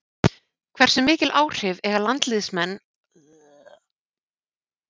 Hversu mikil áhrif eiga landsliðsmenn að hafa á hver þjálfi landsliðið?